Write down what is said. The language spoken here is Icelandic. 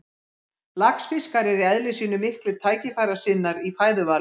Laxfiskar eru í eðli sínu miklir tækifærissinnar í fæðuvali.